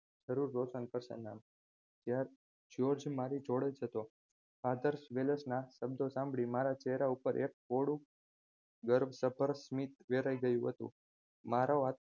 ત્યારે જ્યોર્જ મારી જોડેજ હતો father વેલેશના શબ્દો સાંભળી મારા ચહેરા પર એક બહોળું ગર્વ સભર સ્મિત વેરાય ગયું હતું મારો હાથ